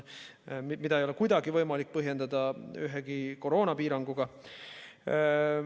Seda ei ole kuidagi võimalik põhjendada ühegi koroonapiiranguga.